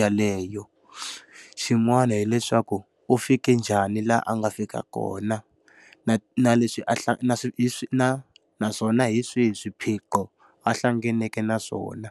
yaleyo? Xin'wani hileswaku, u fike njhani laha a nga fika kona? Na na leswi a na naswona hi swihi swiphiqo a hlanganeke na swona.